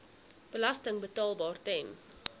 belasting betaalbaar ten